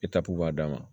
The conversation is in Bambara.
b'a d'a ma